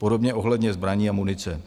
Podobně ohledně zbraní a munice.